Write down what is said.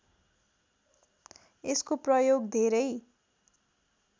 यसको प्रयोग धेरै